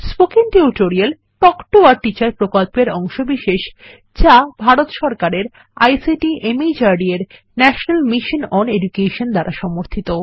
spoken tutorial talk to a teacher প্রকল্পের অংশবিশেষ যা ভারত সরকারের আইসিটি মাহর্দ এর ন্যাশনাল মিশন ওন এডুকেশন দ্বারা সমর্থিত